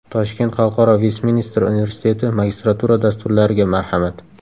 Toshkent Xalqaro Vestminster universiteti Magistratura dasturlariga marhamat!.